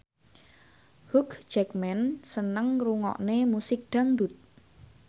Hugh Jackman seneng ngrungokne musik dangdut